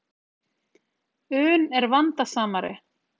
un er vandasamari.